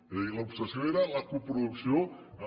és a dir l’obsessió era la coproducció amb